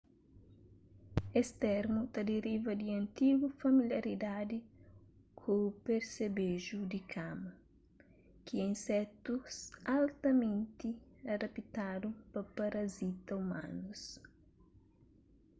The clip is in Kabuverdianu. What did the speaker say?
es termu ta deriva di antigu familiaridadi ku persebeju di kama ki é insetus altamenti adaptadu pa parazita umanus